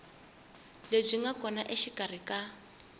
lebyi nga kona exikarhi ka